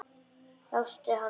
Lastu hana alla?